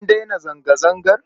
An daina zanga-zangar?